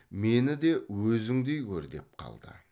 мені де өзіңдей көр деп қалды